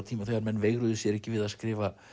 tíma þegar menn veigruðu sér ekki við að skrifa